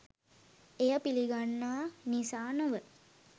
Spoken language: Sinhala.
එය පිළිගන්නා නිසා නොව